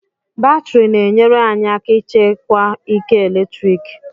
Batrị na-enyere anyị aka ịchekwa ike eletrik